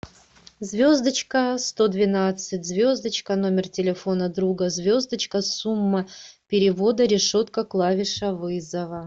звездочка сто двенадцать звездочка номер телефона друга звездочка сумма перевода решетка клавиша вызова